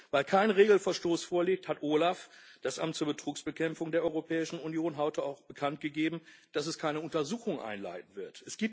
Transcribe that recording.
Weil kein Regelverstoß vorliegt, hat OLAF, das Amt zur Betrugsbekämpfung der Europäischen Union, heute auch bekanntgegeben, dass es keine Untersuchung einleiten wird.